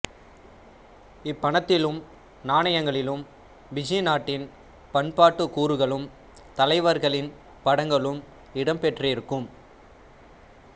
இப்பணத்திலும் நாணயங்களிலும் பிஜி நாட்டின் பண்பாட்டுக் கூறுகளும் தலைவர்களின் படங்களும் இடம்பெற்றிருக்கும்